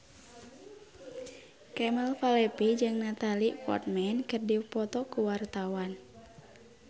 Kemal Palevi jeung Natalie Portman keur dipoto ku wartawan